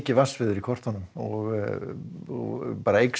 vatnsveður í kröftunum og eykst